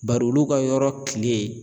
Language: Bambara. Bari olu ka yɔrɔ kile